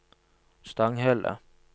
Stanghelle